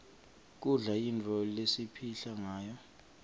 kudla yintfo lesipihla ngayo